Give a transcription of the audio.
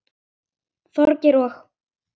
Þorgeir og